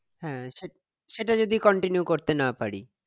হ্যাঁ সেটা ~সেটা যদি continue করতে না পারি